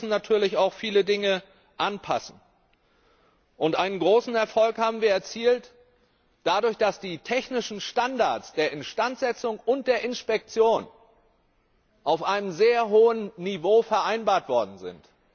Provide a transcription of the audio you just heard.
Aber wir müssen natürlich auch viele Dinge anpassen. Einen großen Erfolg haben wir dadurch erzielt, dass die technischen Standards der Instandsetzung und der Inspektion auf einem sehr hohen Niveau vereinbart worden sind.